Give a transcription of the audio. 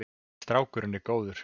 Strákurinn er góður.